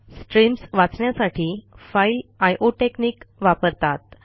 streams वाचण्यासाठी file I O technique वापरतात